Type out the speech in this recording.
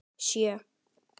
Sjö